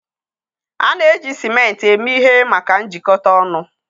A na-eji ciment eme ihe maka njikọta ọnụ.